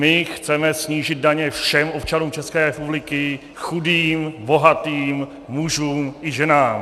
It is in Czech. My chceme snížit daně všem občanům České republiky - chudým, bohatým, mužům i ženám.